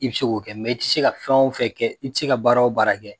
I be se k'o kɛ i ti se ka fɛn o fɛn kɛ, i ti se ka baara o baara kɛ